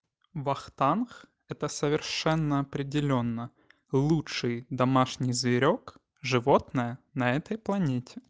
вахтанг это совершенно определённо лучший домашний зверёк животное на этой планете